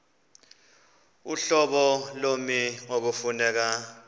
uhlobo lommi ekufuneka